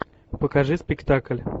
покажи спектакль